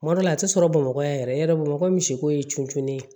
Kuma dɔ la a tɛ sɔrɔ bamakɔ yan yɛrɛ bamakɔ ye misiko ye cuncun ye